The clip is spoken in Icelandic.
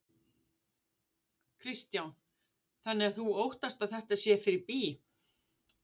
Kristján: Þannig að þú óttast að þetta sé fyrir bí?